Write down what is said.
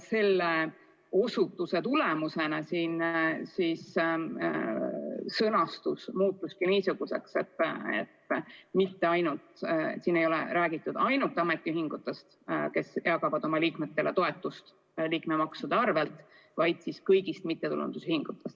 Selle osutuse tulemusena sõnastus muutuski niisuguseks, et eelnõus ei ole räägitud ainult ametiühingutest, kes jagavad oma liikmetele toetust liikmemaksude arvel, vaid kõigist mittetulundusühingutest.